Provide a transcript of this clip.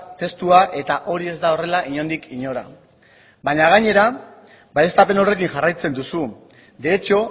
testua eta hori ez da horrela inondik inora baina gainera baieztapen horrekin jarraitzen duzu de hecho